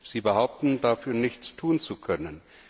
Sie behaupten, dafür nichts tun zu können.